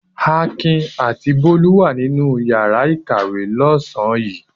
Akin àti Bólú wà nínú ìyàrá-ìkàwé lọ́sàn-án yìí.